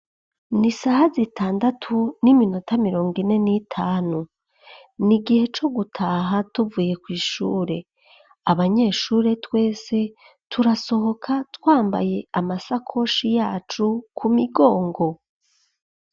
Ni isaha zitandatu, n'iminota mirongo ine n'itanu; ni igihe co gutaha, tuvuye kw'ishure; abanyeshure twese, turasohoka, twambaye amasakoshi yacu, ku migongo.